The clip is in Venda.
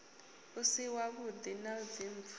u si wavhuḓi na dzimpfu